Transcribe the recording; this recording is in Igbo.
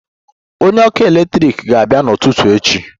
Onye ọkụ eletrik ga-abịa n'ụtụtụ echi